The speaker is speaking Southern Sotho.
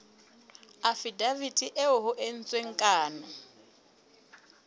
afidaviti eo ho entsweng kano